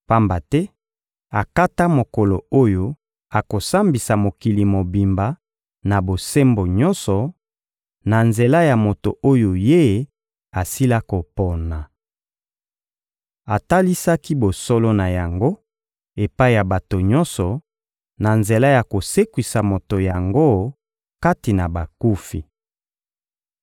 Pamba te akata mokolo oyo akosambisa mokili mobimba na bosembo nyonso, na nzela ya moto oyo Ye asila kopona. Atalisaki bosolo na yango epai ya bato nyonso, na nzela ya kosekwisa moto yango kati na bakufi.